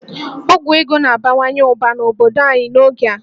Ọgwụ ego na-abawanye ụba n'obodo anyị n'oge a